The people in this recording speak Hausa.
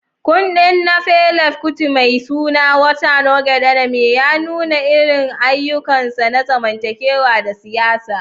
Kundin na Fela Kuti mai suna "Water No Get Enemy" ya nuna irin ayyukansa na zamantakewa da siyasa.